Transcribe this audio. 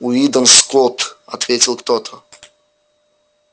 уидон скотт ответил кто то